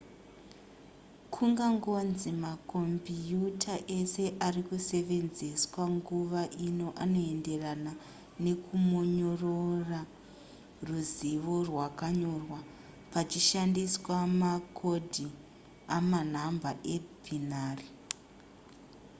kungangonzi makombiuta ese ari kusevenzeswa munguva ino anoenderana nekumonyorora ruzivo rwakanyorwa pachishandiswa makodhi emanhamba ebinary